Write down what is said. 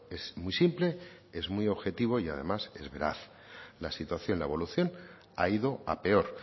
es muy simple es muy objetivo y además es veraz la situación la evolución ha ido a peor